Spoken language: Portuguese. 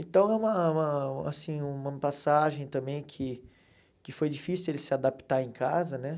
Então, é uma uma assim uma passagem também que que foi difícil ele se adaptar em casa, né?